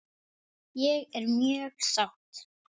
Ég er mjög sátt.